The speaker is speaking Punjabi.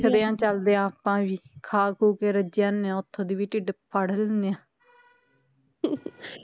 ਦੇਖਦੇ ਆ ਚਲਦੇ ਆ ਆਪਾ ਵੀ ਖਾ ਖੁ ਕੇ ਰੱਜ ਆਉਣੇ ਓਥੋਂ ਦੀ ਵੀ ਢਿਡ ਫਾੜ ਲੈਣੇ ਆ